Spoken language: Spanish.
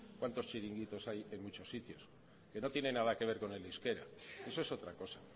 cuantos chiringuitos hay en muchos sitios que no tiene nada que ver con el euskera eso es otra cosa